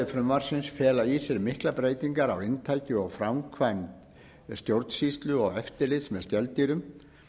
frumvarpsins fela í sér miklar breytingar á inntaki og framkvæmd stjórnsýslu og eftirlits með skeldýrum